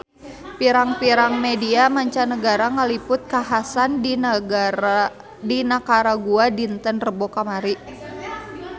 Pirang-pirang media mancanagara ngaliput kakhasan di Nikaragua dinten Rebo kamari